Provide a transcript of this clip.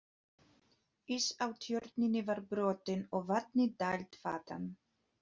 Ís á Tjörninni var brotinn og vatni dælt þaðan.